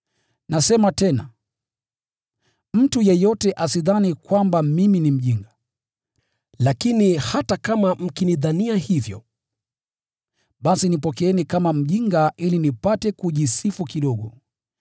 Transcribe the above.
Nasema tena, mtu yeyote asidhani kwamba mimi ni mjinga. Lakini hata kama mkinidhania hivyo, basi nipokeeni kama mjinga ili nipate kujisifu kidogo.